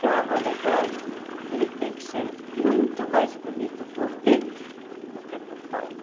Carro alegórico, ele tem que ser muito mais bonito por dentro do que por fora.